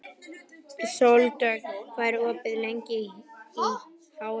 Sóldögg, hvað er opið lengi í HÍ?